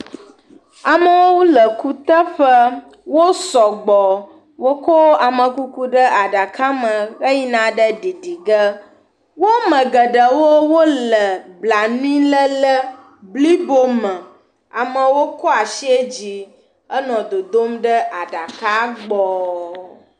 Amewo le kuteƒe, wo sɔgbɔ, wok o amekuku ɖe aɖame heyina ɖe ɖiɖi ge, wo ame geɖe wole blanuiléle blibo me, amewo kɔ asie dzi enɔ dodom ɖe aɖaka gbɔ.